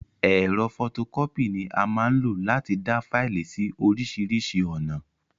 Ẹ̀rọ fọtokọ́pì ni a máa n lo láti dáa Faìlì síí orisirisi ọ̀nà